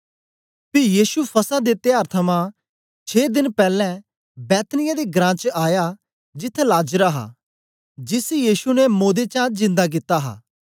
पी यीशु फसह दे त्यार थमां छें देन पैलैं बैतनिय्याह दे घरां च आया जिथें लाजर हा जिसी यीशु ने मोदे चा जिन्दा कित्ता हा